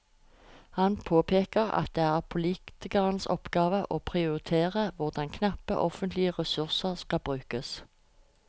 Han påpeker at det er politikernes oppgave å prioritere hvordan knappe offentlige ressurser skal brukes.